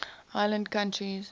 island countries